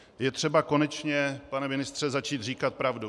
Je třeba konečně, pane ministře, začít říkat pravdu.